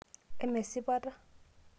eme esipata